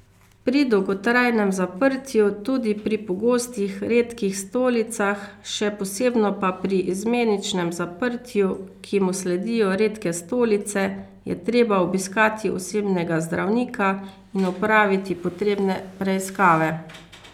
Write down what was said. Pri dolgotrajnem zaprtju, tudi pri pogostih redkih stolicah, še posebno pa pri izmeničnem zaprtju, ki mu sledijo redke stolice, je treba obiskati osebnega zdravnika in opraviti potrebne preiskave.